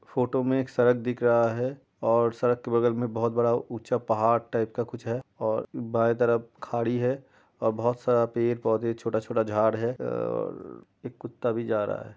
Photo में एक सड़क दिख रहा है और सड़क के बगल में बहुत बड़ा ऊंचा पहाड़ टाइप का कुछ है और बाये तरफ खाड़ी है और बहुत सारा पेड़ पौधे छोटा छोटा झाड है ए र र र एक कुत्ता भी जा रहा है।